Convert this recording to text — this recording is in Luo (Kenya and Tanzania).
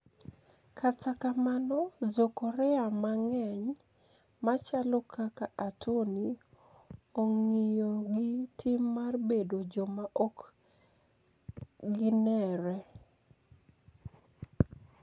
Kata kamano, Jo-Korea manig'eniy machalo kaka Atoni, onig'iyo gi tim mar bedo joma ok genire.